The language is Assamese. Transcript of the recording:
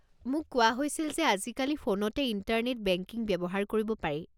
মোক কোৱা হৈছিল যে আজি কালি ফোনতে ইণ্টাৰনেট বেংকিং ব্যৱহাৰ কৰিব পাৰি।